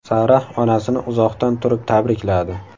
Sara onasini uzoqdan turib tabrikladi.